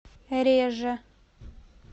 реже